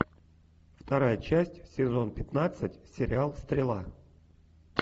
вторая часть сезон пятнадцать сериал стрела